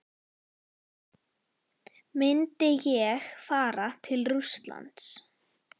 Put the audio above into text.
Myndi ég fara til Rússlands?